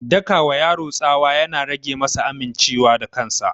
Daka wa yaro tsawa ya na rage masa aminciwa da kansa